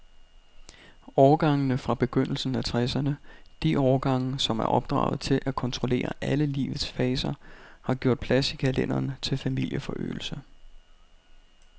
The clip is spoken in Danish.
Årgangene fra begyndelsen af tresserne, de årgange, som er opdraget til at kontrollere alle livets faser, har gjort plads i kalenderen til familieforøgelse.